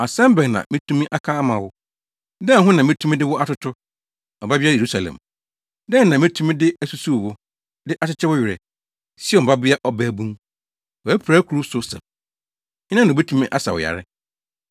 Asɛm bɛn na metumi aka ama wo? Dɛn ho na metumi de wo atoto, Ɔbabea Yerusalem? Dɛn na metumi de asusuw wo, de akyekye wo werɛ, Sion Babea Ɔbabun? Wʼapirakuru so sɛ po. Hena na obetumi asa wo yare?